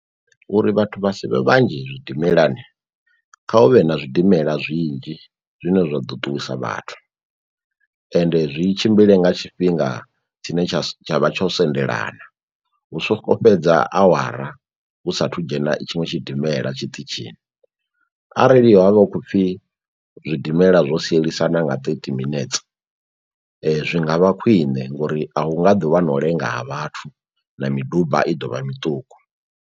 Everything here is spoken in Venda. Uri vhathu vha si vhe vhanzhi zwidimelani kha hu vhe na zwidimela zwinzhi zwine zwa ḓo ṱuwisa vhathu, ende zwi tshimbile nga tshifhinga tshine tsha su tsha vha tsho sendelana, hu songo fhedza awara hu sathu dzhena i tshiṅwe tshidimela tshiṱitshini arali havha hu khou pfhi zwidimela zwo sielisana nga thirty minutes zwi ngavha khwiṋe ngori a hu nga ḓo vha no u lenga ha vhathu na miduba i ḓo vha miṱuku.